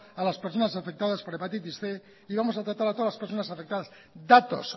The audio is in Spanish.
a las personas afectadas por hepatitis cien y vamos a tratar a todas las personas afectadas datos